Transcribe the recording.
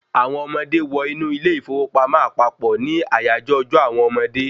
Àwọn ọmọdé wọ inú ilé ìfowópamọ́ àpapọ̀ ní àyájọ́ ọjọ́ àwọn ọmọdé